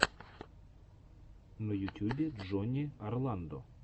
на ютюбе джонни орландо